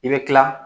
I bɛ kila